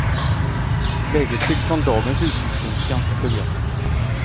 Läget tycks från dagens utsiktspunkt ganska förvirrat.